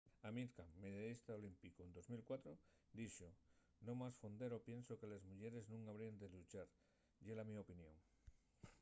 amir kahn medallista olímpicu en 2004 dixo no más fondero pienso que les muyeres nun habríen de lluchar. ye la mio opinión